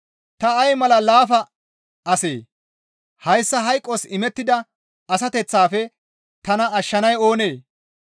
Ta ay mala laafa asee! Hayssa hayqos imettida asateththafe tana ashshanay oonee?